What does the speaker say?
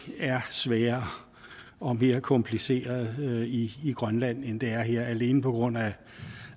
er sværere og mere kompliceret i grønland end det er her og alene på grund af